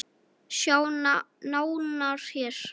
Sjá nánar hér.